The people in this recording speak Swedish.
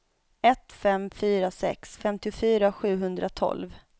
ett fem fyra sex femtiofyra sjuhundratolv